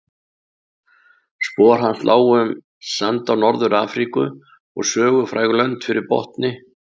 Spor hans lágu um sanda Norður-Afríku og sögufræg lönd fyrir botni